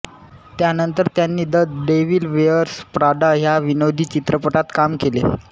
त्यानंतर त्यांनी the Devil Wears Prada ह्या विनोदी चित्रपटात काम केले